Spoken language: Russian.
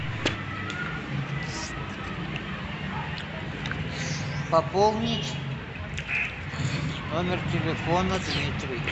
пополнить номер телефона дмитрий